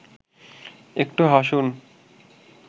একটু হাসুন